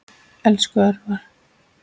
Elsku Örvar.